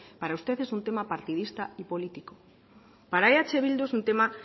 para usted es un tema partidista y político para eh bildu es un tema